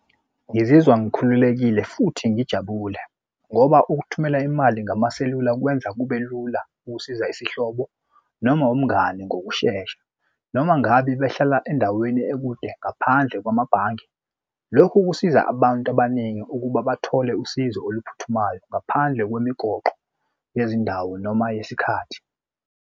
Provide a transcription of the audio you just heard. Ngizizwa ngikhululekile futhi ngijabule ngoba ukuthumela imali ngamaselula kwenza kube lula ukusiza isihlobo noma umngani ngokushesha noma ngabe behlala endaweni ekude ngaphandle kwamabhange. Lokhu kusiza abantu abaningi ukuba bathole usizo oluphuthumayo ngaphandle kwemigoqo yezindawo noma yesikhathi.